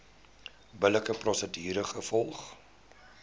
billike prosedure gevolg